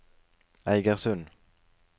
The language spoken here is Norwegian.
Eigersund